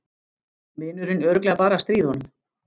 Vinurinn örugglega bara að stríða honum.